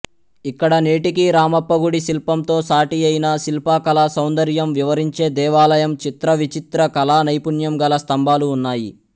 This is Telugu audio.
ఇక్కడ నేటికి రామప్పగుడి శిల్పంతో సాటియైన శిల్పకళా సౌందర్యం వివరించే దేవాలయం చిత్రవిచిత్ర కళా నైపుణ్యం గల స్తంభాలు ఉన్నాయి